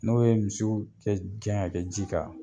N'o ye misiw kɛ gɛn ka kɛ ji kan